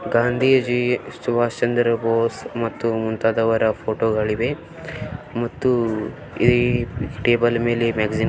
ಗಾಂಧೀಜಿ ಸುಭಾಷ್ ಚಂದ್ರ ಬೋಸ್ ಮತ್ತು ಮುಂತಾದವರ ಫೋಟೋಗಳಿವೆ ಮತ್ತು ಈ ಟೇಬಲ್ ಮೇಲೆ --